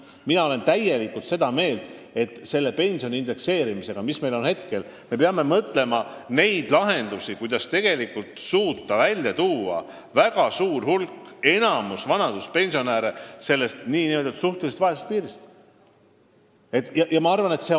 Mina olen täiesti seda meelt, et käimasoleva pensionide indekseerimise raames me peame mõtlema lahendustele, kuidas suuta väga suur hulk, enamik vanaduspensionäre suhtelisest vaesusest välja tuua.